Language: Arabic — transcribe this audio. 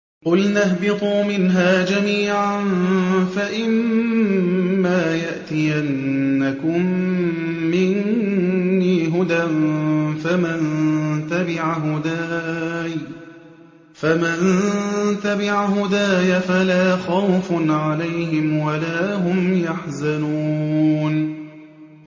قُلْنَا اهْبِطُوا مِنْهَا جَمِيعًا ۖ فَإِمَّا يَأْتِيَنَّكُم مِّنِّي هُدًى فَمَن تَبِعَ هُدَايَ فَلَا خَوْفٌ عَلَيْهِمْ وَلَا هُمْ يَحْزَنُونَ